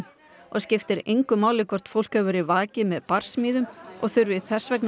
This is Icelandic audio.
og skiptir engu máli hvort fólk hefur verið vakið með barsmíðum og þurfi þess vegna að